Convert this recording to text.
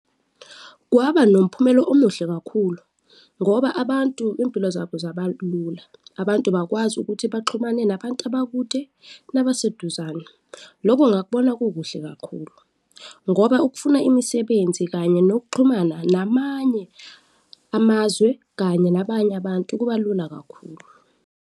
Kwaba nomphumela omuhle kakhulu ngoba abantu iy'mpilo zabo zabalula, abantu bakwazi ukuthi baxhumane nabantu abakude nabaseduzane. Loko ngakubona kukuhle kakhulu ngoba ukufuna imisebenzi kanye nokuxhumana namanye amazwe kanye nabanye abantu kuba lula kakhulu.